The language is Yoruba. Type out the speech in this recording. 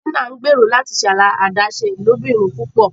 Tina ngbero láti ṣe adaṣe ilobirin púpọ